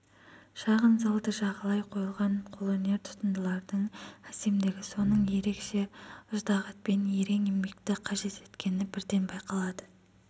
шағын залды жағалай қойылған қолөнер тутындылардың әсемдігі сосын ерекше ыждағатпен ерен еңбекті қажет еткені бірден байқалады